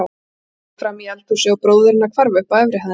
Konan hljóp fram í eldhúsið og bróðir hennar hvarf upp efri hæðina.